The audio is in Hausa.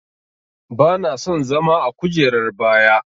Bana son zama a kujerar baya.